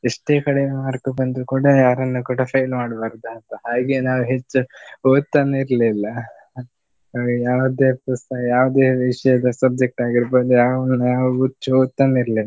ಎಷ್ಟೇ ಕಡಿಮೆ mark ಬಂದ್ರೂ ಕೂಡ ಯಾರನ್ನು ಕೂಡ fail ಮಾಡ್ಬಾರ್ದು ಅಂತ ಹಾಗೆ ನಾವು ಹೆಚ್ಚು ಓದ್ತಾನೆ ಇರ್ಲಿಲ್ಲ ಯಾವುದೇ ಪುಸ್ತ~ ಯಾವುದೇ ವಿಷಯದ subject ಆಗಿರ್ಬಹುದು ಯಾವು ಯಾವು ಹೆಚ್ಚು ಓದ್ತಾನೆ ಇರ್ಲಿಲ್ಲ.